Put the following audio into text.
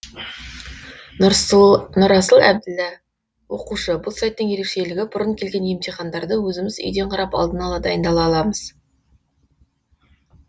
нұрасыл әбілда оқушы бұл сайттың ерекшелігі бұрын келген емтихандарды өзіміз үйден қарап алдын ала дайындала аламыз